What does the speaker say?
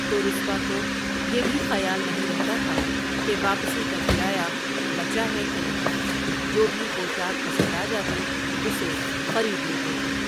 تو رسوا کو یہ بھی خیال نہیں رہتا تھا کہ واپسی کا کرایہ بچا ہے کہ نہیں جو بھی پوشاک پسند آجاتی اسے خرید لیتے تھے ۔